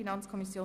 Kürzung